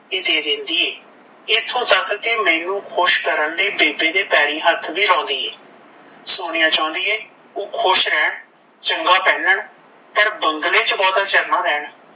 ਦੇ ਦਿੰਦੀ ਏ ਐਥੋਂ ਤਕ ਕੀ ਮੈਨੂੰ ਖੁਸ਼ ਕਰਨ ਲਈ ਬੇਬੇ ਦੇ ਪੈਰੀ ਹੱਥ ਵੀਂ ਲਾਉਂਦੀ ਏ। ਸੋਨੀਆ ਚਾਹੁੰਦੀ ਏ ਕੀ ਓਹ ਖੁਸ਼ ਰਹਿਣ ਚੰਗਾ ਪਹਿਨਣ ਪਰ ਬੰਗਲੇ ਚ ਬਹੁਤਾ ਚਿਰ ਨਾਂ ਰਹਿਣ।